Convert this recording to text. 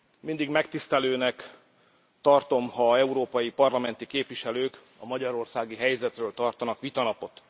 Mindig megtisztelőnek tartom, ha európai parlamenti képviselők a magyarországi helyzetről tartanak vitanapot.